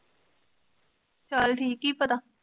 ਚੱਲ ਠੀਕ ਕੀ ਪਤਾ?